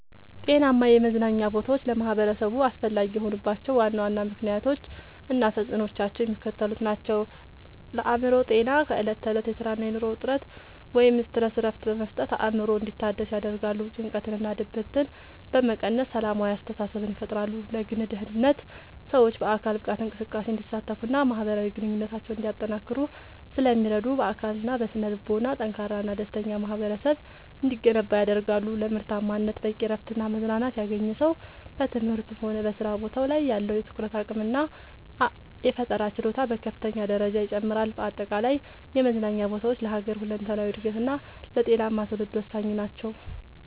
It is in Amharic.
ጤናማ የመዝናኛ ቦታዎች ለማኅበረሰቡ አስፈላጊ የሆኑባቸው ዋና ዋና ምክንያቶች እና ተፅዕኖዎቻቸው የሚከተሉት ናቸው፦ ለአእምሮ ጤና፦ ከዕለት ተዕለት የሥራና የኑሮ ውጥረት (Stress) እረፍት በመስጠት አእምሮ እንዲታደስ ያደርጋሉ። ጭንቀትንና ድብርትን በመቀነስ ሰላማዊ አስተሳሰብን ይፈጥራሉ። ለግል ደህንነት፦ ሰዎች በአካል ብቃት እንቅስቃሴ እንዲሳተፉና ማኅበራዊ ግንኙነታቸውን እንዲያጠናክሩ ስለሚረዱ፣ በአካልና በስነ-ልቦና ጠንካራና ደስተኛ ማኅበረሰብ እንዲገነባ ያደርጋሉ። ለምርታማነት፦ በቂ እረፍትና መዝናናት ያገኘ ሰው በትምህርቱም ሆነ በሥራ ቦታው ላይ ያለው የትኩረት አቅምና የፈጠራ ችሎታ በከፍተኛ ደረጃ ይጨምራል። በአጠቃላይ የመዝናኛ ቦታዎች ለሀገር ሁለንተናዊ እድገትና ለጤናማ ትውልድ ወሳኝ ናቸው።